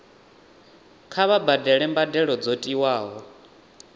kha vha badele mbadelo dzo tiwaho